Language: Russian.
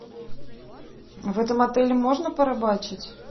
в этом отеле можно порыбачить